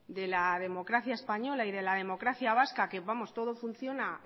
de la democracia española y de la democracia vasca que vamos todo funciona